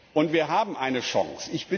Und wir haben eine Chance!